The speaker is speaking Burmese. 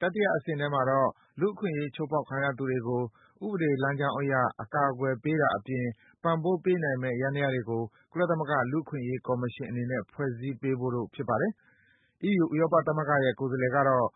တတိယ အဆင့်ထဲမှာတော့ အခွင့်အရေး ချိုးဖောက်ခံရသူတွေကို ဥပဒေလမ်းကြောင်းအရ အကာကွယ်ပေးတာအပြင် ပံ့ပိုးပေးနိုင်မယ့် ယန္တရားတွေကို ကုလသမဂ္ဂ လူ့အခွင့်အရေး ကော်မရှင်အနေနဲ့ ဖွဲ့စည်းပေးဖို့တို့ ဖြစ်ပါတယ်။ အီးယူ ဥရောပသမဂ္ဂရဲ့ ကိုယ်စားလှယ်ကတော့